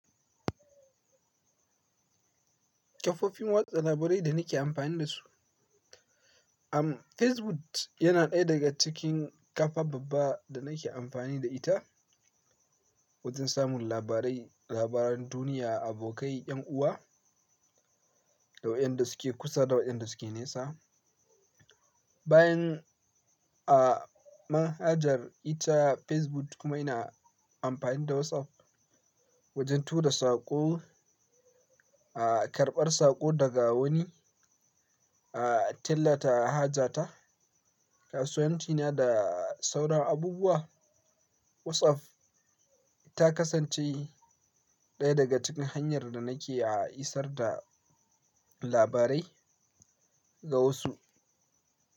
Kafofin watsa labarai da nake amfani da su, am Facebook yana ɗaya daga cikin kafa babba da nake amfani da ita wajen samun labarai, labaran duniya, abokai, 'yan uwa, daukiyan da suke kusa, daukiyan da suke nesa. Bayan a manhajar ita Facebook kuma ina amfani da WhatsApp wajen tura saƙo, a karɓar saƙo daga wani, a tillata hajata, kasuwanci na da sauran abubuwa. WhatsApp ta kasance ɗaya daga cikin hanyar da nake a isar da labarai ga wasu.